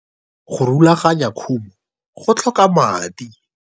Go rulaganya khumo, go tlhoka madi.